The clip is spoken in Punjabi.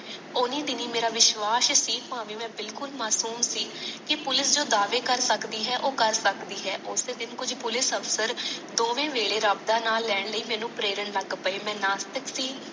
ਓਨੇ ਬਿਨਾ ਮਾਰਾ ਵਿਸਵਾਸ਼ ਸੀ ਭਾਵੇ ਮੈ ਬਿਲਕੁਲ ਮਾਸੂਮ ਸੀ ਕੀ ਜੋ ਪੁਲਿਸ਼ ਜੋ ਦਾਵੇ ਕਰ ਸਕਦੀ ਹੈ ਓ ਕਰ ਸਕਦੀ ਹ ਓਸੇ ਵਿਚ ਕੁਛ ਪੁਲਿਕ ਅਫਸਰ ਦੋਵੇ ਵੇਲੇ ਮੈਨੂੰ ਰੱਬ ਦਾ ਨਾਮ ਲੈਣ ਲਈ ਮੈਨੂੰ ਪ੍ਰੇਰਾਂ ਲੱਗ ਗਏ ਮੈ ਨਾਸਤਿਕ ਸੀ